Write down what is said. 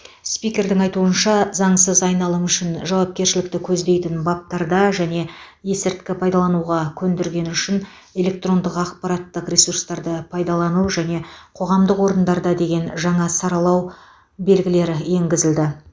спикердің айтуынша заңсыз айналым үшін жауапкершілікті көздейтін баптарда және есірткі пайдалануға көндіргені үшін электрондық ақпараттық ресурстарды пайдалану және қоғамдық орындарда деген жаңа саралау белгілері енгізілді